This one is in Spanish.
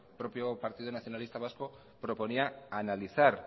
propio partido nacionalista vasco proponía analizar